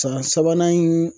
San sabanan in